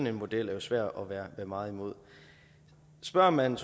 en model er svær at være meget imod spørger man